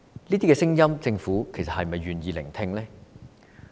這些聲音，政府是否願意聆聽呢？